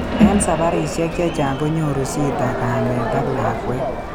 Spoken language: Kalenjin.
Eng sabarisyek chechaang konyoru shita kameet ak lakwet